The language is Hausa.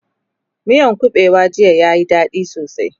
miyan kabewan jiya ya Yi dadi sosai